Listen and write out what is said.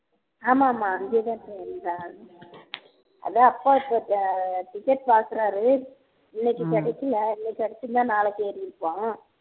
ஆமா ஆமா அதான் அப்பா இப்போ அஹ் ticket பாக்குறாரு இன்னைக்கு கிடைக்கலே இன்னைக்கு கெடச்சுருந்தா நாளைக்கு ஏறீருப்பான்